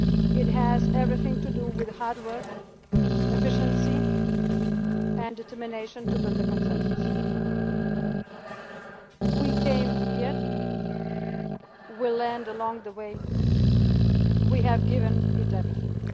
the size of the country. It has everything to do with hard work, efficiency, and determination to build a consensus. We came prepared, we learned along the way, and